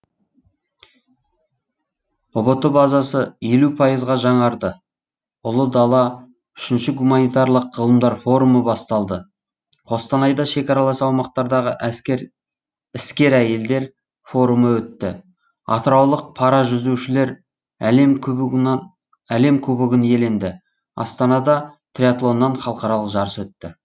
ұбт базасы елу пайызға жаңарды ұлы дала үшінші гуманитарлық ғылымдар форумы басталды қостанайда шекаралас аумақтардағы әскер іскер әйелдер форумы өтті атыраулық паражүзушілер әлем кубогынан әлем кубогын иеленді астанада триатлоннан халықаралық жарыс өтті